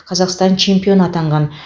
қазақстан чемпионы атанған